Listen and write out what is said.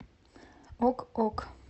ок ок